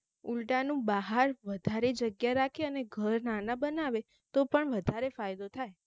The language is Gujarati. ઉલ્ટાનું બહાર વધારે જગ્યા રાખે અને ઘર નાના નાના બનાવે તો પણ વધારે ફાયદો થાય